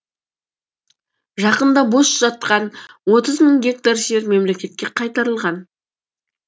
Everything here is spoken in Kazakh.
жақында бос жатқан отыз мың гектар жер мемлекетке қайтарылған